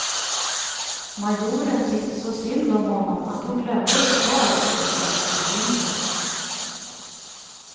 Majoren tyckte så synd om honom att hon glömde lokal och bostadsbekymmer.